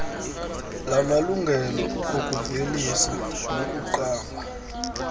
lamalungelo okuvelisa nokuqamba